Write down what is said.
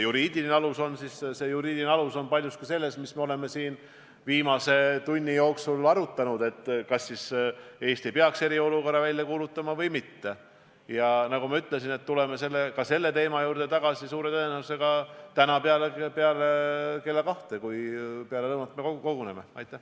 Lugupeetud peaminister!